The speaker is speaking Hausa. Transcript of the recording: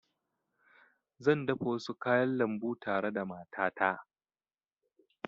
Zan dafa wasu kayan lambu tare da matata